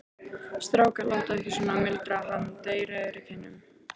Strákar, látið ekki svona muldraði hann dreyrrauður í kinnum.